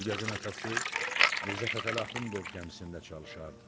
Gülgəzin atası Mirzə Fətəli Axundov gəmisində çalışardı.